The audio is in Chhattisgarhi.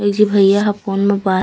एक झी भैया ह फ़ोन में बात--